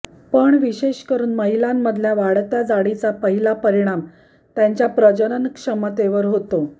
पण विशेष करून महिलांमधल्या वाढत्या जाडीचा पहिला परिणाम त्यांच्या प्रजनन क्षमतेवर होतो